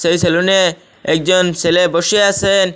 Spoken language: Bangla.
এই সেলুনে একজন সেলে বসে আছেন।